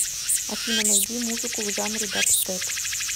афина найди музыку в жанре дабстеп